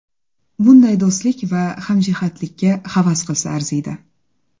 Bunday do‘stlik va hamjihatlikka havas qilsa arziydi.